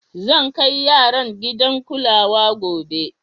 Zan kai yaran gidan kulawa gobe.